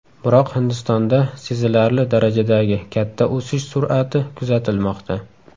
Biroq Hindistonda sezilarli darajadagi katta o‘sish sur’ati kuzatilmoqda.